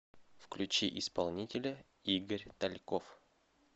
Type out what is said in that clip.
включи исполнителя игорь тальков